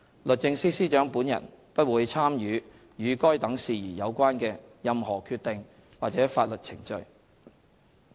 律政司司長本人不會參與與該等事宜有關的任何決定或法律程序。